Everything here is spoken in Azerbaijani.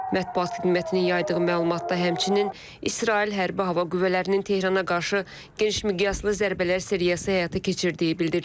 Mətbuat xidmətinin yaydığı məlumatda həmçinin İsrail Hərbi Hava Qüvvələrinin Tehrana qarşı geniş miqyaslı zərbələr seriyası həyata keçirdiyi bildirilib.